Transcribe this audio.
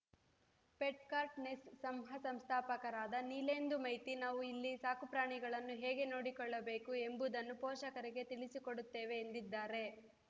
Petcart ನೆಸ್ ಸಂಹ ಸಂಸ್ಥಾಪಕರಾದ ನೀಲೇಂದು ಮೈತಿ ನಾವು ಇಲ್ಲಿ ಸಾಕುಪ್ರಾಣಿಗಳನ್ನು ಹೇಗೆ ನೋಡಿಕೊಳ್ಳಬೇಕು ಎಂಬುದನ್ನೂ ಪೋಷಕರಿಗೆ ತಿಳಿಸಿಕೊಡುತ್ತೇವೆ ಎಂದಿದ್ದಾರೆ